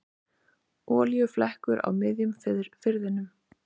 Olíuflekkur á miðjum firðinum